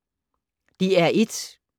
DR1